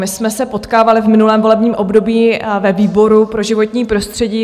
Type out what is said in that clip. My jsme se potkávaly v minulém volebním období ve výboru pro životní prostředí.